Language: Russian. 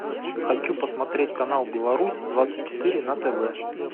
хочу посмотреть канал беларусь двадцать четыре на тв